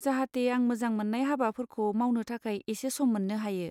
जाहाथे आं मोजां मोननाय हाबाफोरखौ मावनो थाखाय एसे सम मोननो हायो।